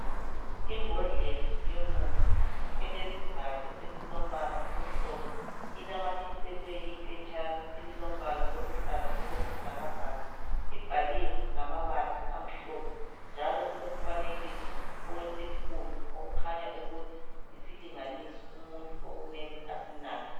Imbodlela yomuthi elesivalo esilombala omhlophe inamathiselwe iphetshana elilombala oluhlaza okwesibhakabhaka libhaliwe ngamabala amhlophe njalo kulomfanekiso wokhezo okukhanya ukuthi yisilinganiso umuntu okumele asinathe.